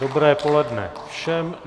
Dobré poledne všem.